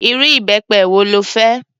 Irú ìbẹpẹ wo lo fẹ́?